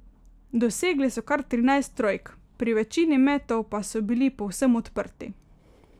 Dosegli so kar trinajst trojk, pri večini metov pa so bili povsem odprti.